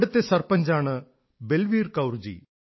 അവിടത്തെ സർപഞ്ചാണ് ബൽവീർ കൌർ ജി